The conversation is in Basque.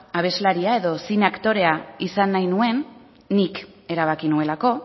abeslaria edo zine aktorea izan nahi nuen nik erabaki nuelako